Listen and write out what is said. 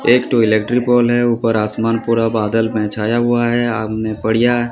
एक टो electric pole है ऊपर आसमान पूरा बादल मे छाया हुआ है --